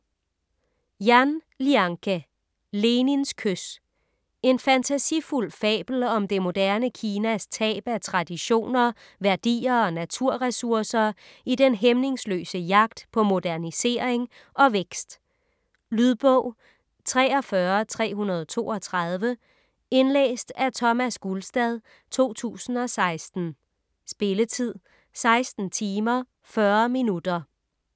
Yan, Lianke: Lenins kys En fantasifuld fabel om det moderne Kinas tab af traditioner, værdier og naturressourcer i den hæmningsløse jagt på modernisering og vækst. Lydbog 43332 Indlæst af Thomas Gulstad, 2016. Spilletid: 16 timer, 40 minutter.